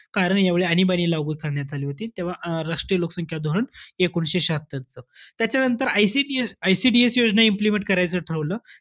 कारण यावेळी आणीबाणी लागू करण्यात आली होती. तेव्हा अं राष्ट्रीय लोकसंख्या धोरण एकोणीसशे श्याहत्तरच. त्याच्यानंतर ICTS~ICDS योजना implement करायचं ठरवलं.